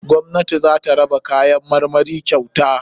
Gwamnati zata raba kayan marmari kyauta.